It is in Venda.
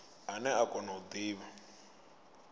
ane a kona u divha